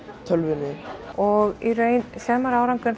tölvunni og í raun sér maður árangur